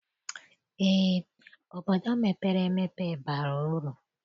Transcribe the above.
Eé, obodo mepere emepe bara uru.